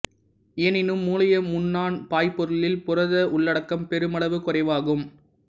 எனினும் மூளைய முண்ணான் பாய்பொருளில் புரத உள்ளடக்கம் பெருமளவு குறைவாகும்